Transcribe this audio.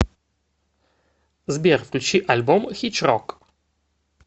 сбер включи альбом хичрок